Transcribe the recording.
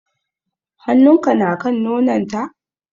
Hannun ka na kan nonon ta?